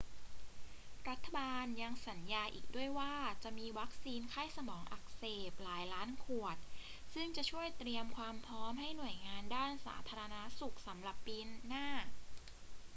รัฐบาลยังสัญญาอีกด้วยว่าจะมีวัคซีนไข้สมองอักเสบหลายล้านขวดซึ่งจะช่วยเตรียมความพร้อมให้หน่วยงานด้านสุขภาพสำหรับปีหน้า